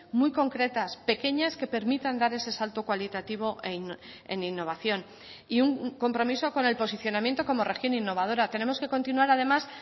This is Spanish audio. muy concretas pequeñas que permitan dar ese salto cualitativo en innovación y un compromiso con el posicionamiento como región innovadora tenemos que continuar además